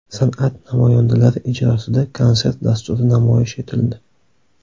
San’at namoyandalari ijrosida konsert dasturi namoyish etildi.